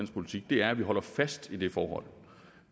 politik er at vi holder fast i det forhold